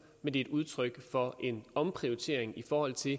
men det er et udtryk for en omprioritering i forhold til